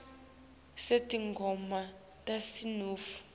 sinetingoma tesinifu